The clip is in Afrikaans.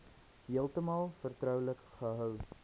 heeltemal vertroulik gehou